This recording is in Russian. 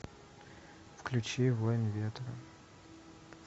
включи воин ветра